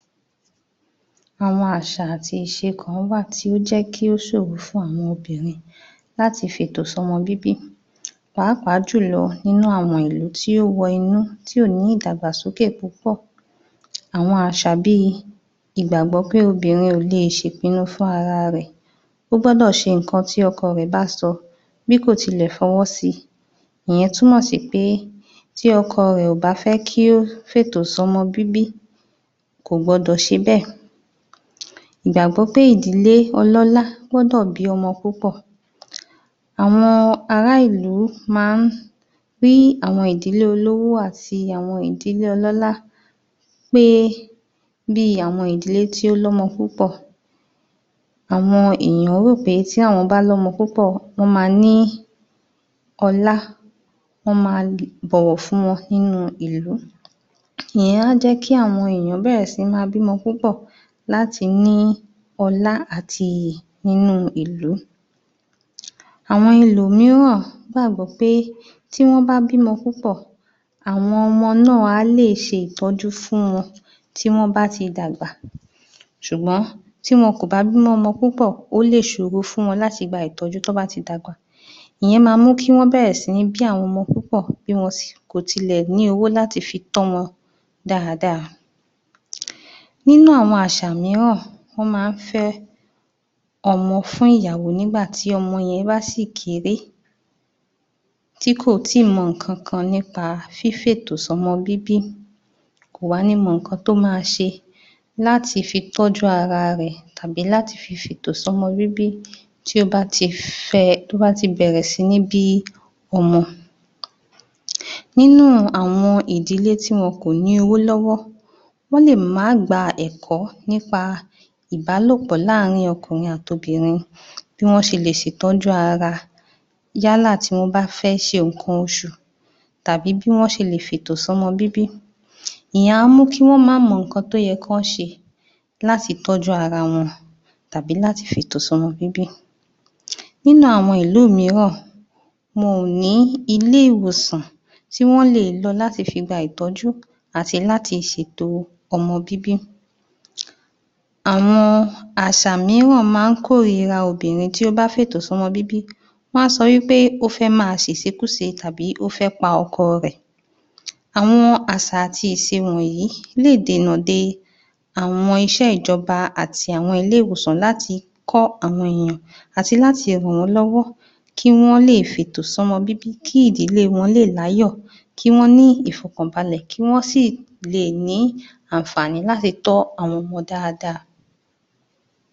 Àwọn àṣà àti ìṣẹ kan wà tí ó jẹ́ kí ó ṣòro fún ọmọbìnrin láti fètòsọ́mọbíbí pàápàá jùlọ ní àwọn ìlú tí ó wọ inú tí ò ní ìdàgbàsókè púpọ̀. Àwọn àṣà bí ìgbàgbọ́ pé obìnrin ò le è ṣe ìpinnu fún ara rẹ̀ ó gbọ́dọ̀ ṣe ǹkan tí ọkọ rẹ̀ bá sọ bí kò tilẹ̀ fọwọ́ si ìyẹn túmọ̀ sí pé tí ọkọ rẹ̀ ò bá fẹ́ kí ó fètòsọ́mọbíbí kò gbọdọ̀ ṣe bẹ́ẹ̀, ìgbàgbọ́ pé ìdílé ọlọ́lá gbọ́dọ̀ bí ọmọ púpọ̀ àwọn ará ilú máa ń rí àwọn ìdílé olówó àti àwọn ìdílé ọlọ́lá pé bí i àwọn ìdílé tí ó lọ́mọ púpọ̀ àwọn èèyán rò pé tí àwọn bá ní ọmọ púpọ̀ wọ́n ma ní ọlá, wọ́n ma bọ̀wọ̀ fún wọn nínú ìlú ìyẹn á jẹ́ kí àwọn èyàn bẹ̀rẹ̀ sí ní bímọ púpọ̀ láti ní ọlá àti inú ìlú. Àwọn ẹlòmíràn gbàgbọ́ pé tí wọ́n bá bí ọmọ púpọ̀ àwọn ọmọ náà á lè ṣe ìtọ́jú fún wọn tí wọ́n bá ti dàgbà ṣùgbọ́n tí wọn kò bá bí ọmọ púpọ̀ ó lè ṣòro fún wọn láti gba ìtọ́jú t’ọ́n bá ti dàgbà. Ìyẹn ma mú kí wọ́n bẹ̀rẹ̀ sí ma bí ọmọ púpọ̀ bí wọn sì kò tilẹ̀ ní owó láti fi tọ́ wọn dáadáa. Nínú àwọn àṣà míràn wọ́n ma ń fé ọmọ́ fún ìyàwó nígbà tí ọmọ yẹn bá ṣì kéré tí kò tí ì mọ ǹkan kan nípa fífètòsọ́mọbíbí kò wá ní mọ ǹkan tó máa ṣe láti fi tọ́jú ara rẹ̀ tàbí láti fi fètòsọ́mọbíbí tí ó bá ti fẹ tó bá ti bẹ̀rẹ̀ sí ní bí ọmọ. Nínú àwọn ìdílé tí wọn kò ní ówó lọ́wọ́ wọ́n lè má gba ẹ̀kọ́ nípa ìbálòpọ̀ láàrín ọkùnrin àti obìnrin bí wọ́n ṣe lè ṣètọ́jú ara yálà tí wọ́n bá fẹ́ ṣe ǹkan oṣù tàbí bí wọ́n ṣe lè fẹ̀tòsọ́mọbíbí ìyẹn a mú kí wọ́n má mọ ǹkan tó yẹ kí wọ́n ṣe láti tọ́jú ara wọn tàbí láti fètòsọ́mọbíbí. Ní àwọn ìlú míràn wọn ò ní ilé-ìwòsàn tí wọ́n le è lọ láti fi gba ìtọ́jú àti láti ṣèto ọmọbíbí àwọn àṣà míràn ma ń kóríra obìnrin tí ó bá fètòsọ́mọbíbí wọ́n á sọ í pé ó fẹ́ ma ṣẹ ìṣekúṣe àtbí ó fẹ́ pa ọkọ rẹ̀. Àwọn àṣà àti ìsẹ wọ̀nyí lè dènà de àwọn iṣẹ́ ìjọba àti iṣẹ́ àwọn ilé-ìwòsàn láti kọ́ àwọn ènìyàn àti láti ràn wọ́n lọ́wọ́ kí wọ́n lè fètòsọ́mọbíbí kí ìdílé wọn lè láyò kí wọ́n ní ìfọ̀kànbalè kí wọ́n sì le è ní àǹfààní láti tọ́ àwọn ọmọ dáadáa.